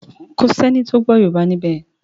Kọ sí ẹní tó gbó yorùbá níbè.